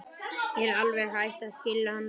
Ég er alveg hætt að skilja hann Lúlla.